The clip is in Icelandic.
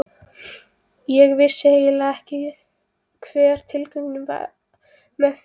Ég vissi eiginlega ekki hver tilgangurinn með því er.